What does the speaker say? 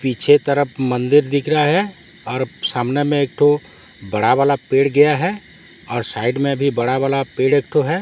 पीछे तरफ मंदिर दिख रहा है और सामने में एक ठो बड़ा वाला पेड़ गया है और साइड में भी बड़ा वाला पेड़ एक ठो है।